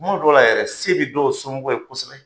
Kuma dɔw la yɛrɛ se bi dɔw somɔgɔ ye kosɛbɛ.